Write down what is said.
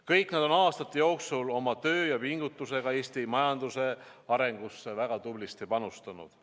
Kõik nad on aastate jooksul oma töö ja pingutusega Eesti majanduse arengusse väga tublisti panustanud.